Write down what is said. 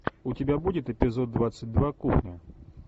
у тебя будет эпизод двадцать два кухня